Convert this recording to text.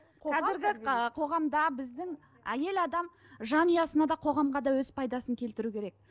қоғамда біздің әйел адам жанұясына да қоғамға да өз пайдасын келтіруі керек